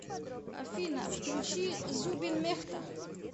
афина включи зубин мехта